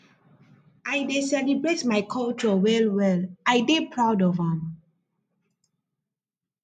i dey celebrate my culture well well i dey proud of am